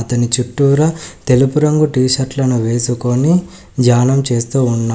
దాని చుట్టూరా తెలుపు రంగు టీ షర్ట్ లను వేసుకొని ధ్యానం చేస్తూ ఉన్నా--